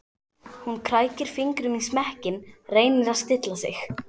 Hún krækir fingrum í smekkinn, reynir að stilla sig.